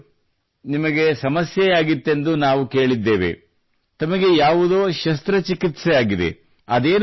ಒಳ್ಳೆಯದು ನಿಮಗೆ ಸಮಸ್ಯೆಯಾಗಿತ್ತೆಂದು ನಾವು ಕೇಳಿದ್ದೇವೆ ತಮಗೆ ಯಾವುದೋ ಶಸ್ತ್ರಚಿಕಿತ್ಸೆ ಆಗಿದೆ